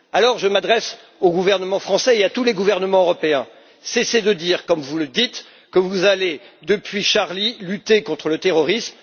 dizaines. Alors, je m'adresse au gouvernement français et à tous les gouvernements européens cessez de dire, comme vous le faites depuis Charlie, que vous allez lutter contre le terrorisme.